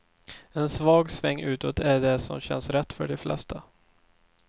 En svag sväng utåt är det som känns rätt för de flesta.